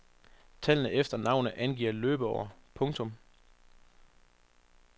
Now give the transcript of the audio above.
Tallene efter navnet angiver løbeår. punktum